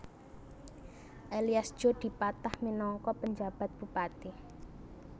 Elias Djo dipatah minangka penjabat bupati